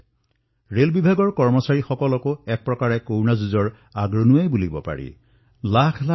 যিদৰে ৰেলৱেৰ কৰ্মচাৰীসকলে আজি ইয়াত জড়িত হৈ পৰিছে তেওঁলোকেও এক প্ৰকাৰে অগ্ৰীম শাৰীত থিয় দি কৰোনা যোদ্ধাৰ ৰূপত অৱতীৰ্ণ হৈছে